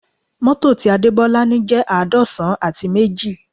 Mọ́tò ti Adebola ni jẹ́ àádọ́san àti méjì